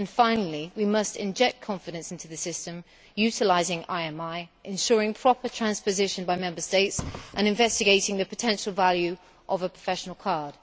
Finally, we must inject confidence into the system, utilising IMI, ensuring proper transposition by Member States and investigating the potential value of a professional card.